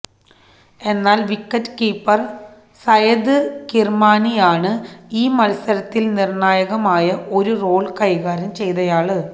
എന്നാല് wicket keeper Syed കിര്മാണിയാണ് ഈ മത്സരത്തില് നിര്ണ്ണായകമായ ഒരു റോള് കൈകാര്യം ചെയ്തയാള്